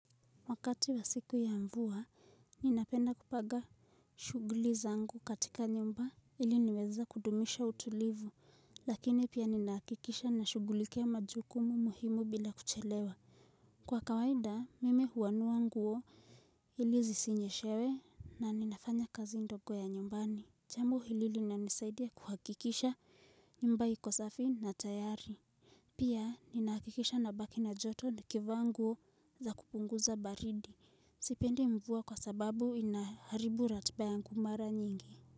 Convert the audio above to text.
Wakati wa siku ya mvua, ninapenda kupanga shughuli zangu katika nyumba ili niweza kudumisha utulivu, lakini pia ninahakikisha na shughulikia majukumu muhimu bila kuchelewa. Kwa kawaida, mimi huanua nguo ili zisinyeshewe na ninafanya kazi ndogo ya nyumbani. Jambo hili limenisaidia kuhakikisha nyumba iko safi na tayari. Pia, ninahakikisha nabaki na joto nikivaa nguo za kupunguza baridi. Sipendi mvua kwa sababu inaharibu ratiba yangu mara nyingi.